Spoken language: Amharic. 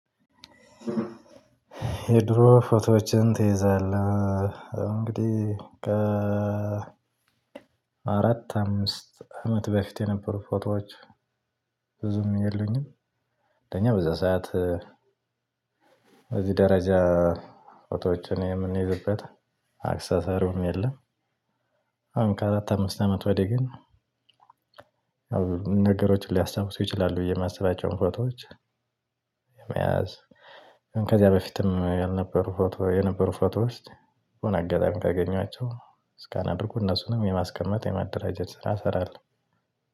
የድሮ ፎቶዎችን ትይዛለህ እንግዲህ አራት አምስት አመት በፊት የነበሩ ፎቶዎች ብዙም የለኝም። ለኛ በዛ ሰዓት እዚህ ደረጃ ፎቶችን የምንይዝበት አክሰሰሩም የለም። አሁን ከአራት አምስት አመት ወዲህ ግን። ነገሮችን ሊያስታውሱ ይችላሉ ብዬ የማስባቸውን ፎቶዎች። መያዝ ከዚያ በፊትም ፎቶ የነበሩ ፎቶዎች አጋጣሚ ካገኘኋቸው ስካን አድርጉ እነሱንም የማስቀመጥ የማደራጀት ስራ እሰራለሁ።